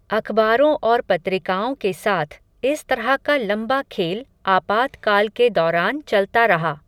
अखबारों और पत्रिकाओं के साथ, इस तरह का लंबा खेल, आपातकाल के दौरान चलता रहा